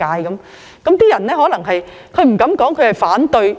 有些人可能不敢表明反對